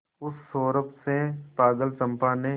उस सौरभ से पागल चंपा ने